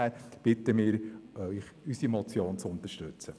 Deshalb bitten wir Sie, unsere Motion zu unterstützen.